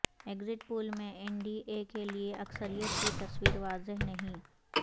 exact poll میں N D A کے لئے اکثریت کی تصویر واضح نہیں